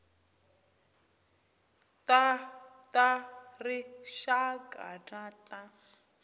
ta ta rixaka na ta